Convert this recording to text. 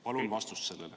Palun vastust sellele.